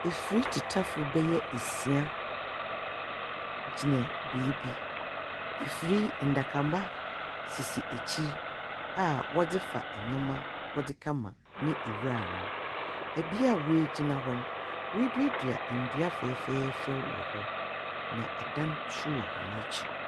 Efir titafo bɛyɛ esia gyina beebi, efiri ndakamba sisi akyir aa wɔdze fa nyɛma wɔde kɛ ma ne iwura nom. Ebea w'agyina hɔ no, wa duadua ndua fɛɛfɛɛfɛw wɔhɔ. Na ɛdan so wɔ wɔn akyir.